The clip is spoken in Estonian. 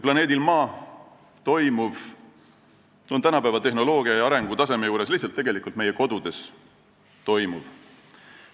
Planeedil Maa toimuv on tänapäeva tehnoloogia arengutaseme tõttu lihtsalt tegelikult meie kodudes toimuv.